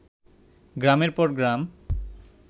গ্রামের পর গ্রাম